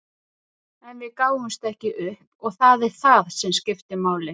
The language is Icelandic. En við gáfumst ekki upp og það er það sem skiptir máli.